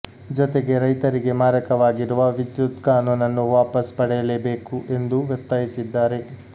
ಜೊತೆಗೆ ರೈತರಿಗೆ ಮಾರಕವಾಗಿರುವ ವಿದ್ಯುತ್ ಕಾನೂನನ್ನು ವಾಪಸ್ ಪಡೆಯಲೇಬೇಕು ಎಂದು ಒತ್ತಾಯಿಸಿದ್ದಾರೆ